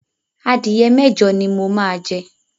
Adìyẹ mẹ́jọ ni mo máa jẹ.